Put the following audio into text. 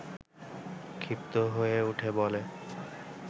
ক্ষিপ্ত হয়ে উঠে বলে